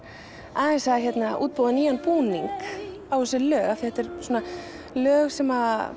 aðeins að útbúa nýjan búning á þessi lög að þetta eru svona lög sem